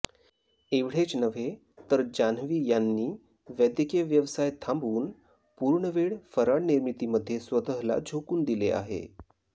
एवढेच नव्हे तर जान्हवी यांनी वैद्यकीय व्यवसाय थांबवून पूर्णवेळ फराळ निर्मितीमध्ये स्वतःला झोकून दिले आहे